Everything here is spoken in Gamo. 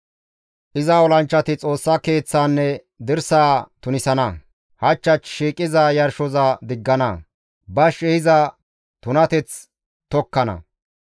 «Iza olanchchati Xoossa Keeththaanne dirsaa tunisana; hach hach shiiqiza yarshoza diggana; bash ehiza tunateth tokkana.